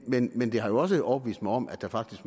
men men det har jo også overbevist mig om at der faktisk